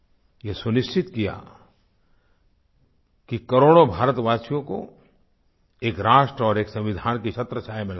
ये सुनिश्चित किया कि करोड़ों भारतवासियों को एक राष्ट्र और एक संविधान की छत्रछाया में लाया जाए